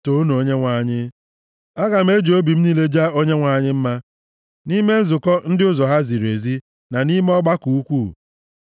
Toonu Onyenwe anyị! Aga m eji obi m niile jaa Onyenwe anyị mma nʼime nzukọ ndị ụzọ ha ziri ezi na nʼime ọgbakọ ukwuu.